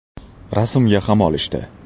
Rasmga ham olishdi.